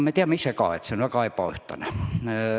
Me teame ise ka, et see on väga ebaühtlane.